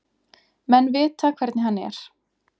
Menn vita hvernig hann er.